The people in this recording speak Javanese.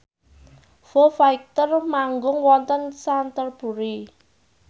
Foo Fighter manggung wonten Canterbury